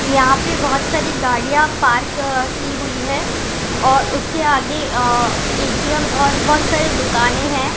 यहाँ पर बोहोत सारी गाड़िया पार्क की हुई हैं और उसके आगे अअअ एटीएम और बोहोत सारी दुकाने हैं।